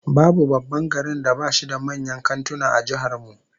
Babu babban garin da bashi da manyan kantuna a jihar mu